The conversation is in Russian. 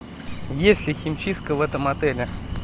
есть ли химчистка в этом отеле